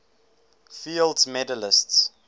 fields medalists